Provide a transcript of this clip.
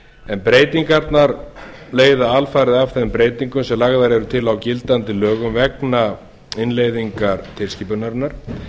en breytingarnar leiða alfarið af þeim breytingum sem lagðar eru til á gildandi lögum vegna innleiðingar tilskipunarinnar